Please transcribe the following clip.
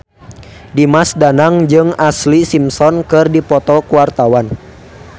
Dimas Danang jeung Ashlee Simpson keur dipoto ku wartawan